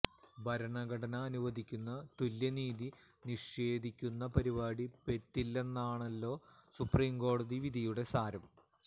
ഭരണഘടന അനുവദിക്കുന്ന തുല്യനീതി നിഷേധിക്കുന്ന പരിപാടി പറ്റില്ലെന്നാണല്ലോ സുപ്രീം കോടതി വിധിയുടെ സാരം